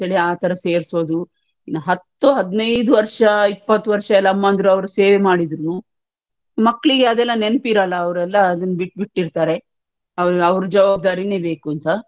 ಆತರ ಸೇರ್ಸೋದು ಇನ್ನ ಹತ್ತು ಹದ್ನೈದ್ ವರ್ಷ ಇಪ್ಪತ್ತು ವರ್ಷ ಎಲ್ಲ ಅಮ್ಮಂದ್ರು ಅವ್ರು ಸೇವೆ ಮಾಡಿದ್ರುನು ಮಕ್ಲಿಗೆ ಅದೆಲ್ಲಾ ನೆನಪಿರಲ್ಲಾ ಅವ್ರೆಲ್ಲ ಅದನ್ನು ಬಿಟ್ಟ್ ಬಿಟ್ಟಿರ್ತಾರೆ ಅವ್ರು ಅವರ ಜವಾಬ್ದಾರಿನೇ ಬೇಕುಂತ,